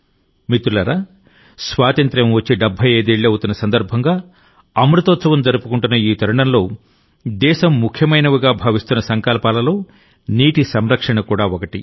మిత్రులారాస్వాతంత్య్రం వచ్చి 75 ఏళ్లు అవుతున్నసందర్భంగా అమృతోత్సవం జరుపుకుంటున్న ఈ తరుణంలో దేశం ముఖ్యమైనవిగా భావిస్తున్న సంకల్పాలలో నీటి సంరక్షణ కూడా ఒకటి